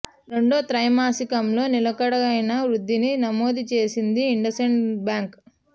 రెండో త్రైమాసికంలో నిలకడైన వృద్ధిని నమోదు చేసింది ఇండస్ ఇండ్ బ్యాంక్